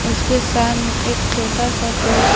उसके सामने एक छोटा सा पेड़ है।